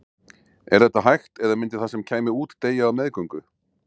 Er þetta hægt eða myndi það sem kæmi út deyja á meðgöngu?